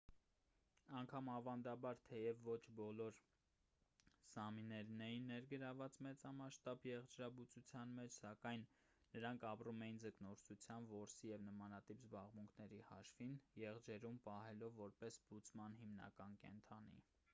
անգամ ավանդաբար թեև ոչ բոլոր սամիներն էին ներգրավված մեծամասշտաբ եղջերաբուծության մեջ սակայն նրանք ապրում էին ձկնորսության որսի և նմանատիպ զբաղմունքների հաշվին եղջերուն պահելով որպես բուծման հիմնական կենդանի